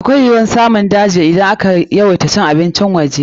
Akwai yiwuwar samun jeji idan ka yawaita cin abincin waje.